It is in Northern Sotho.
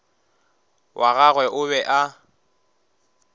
wa gagwe o be a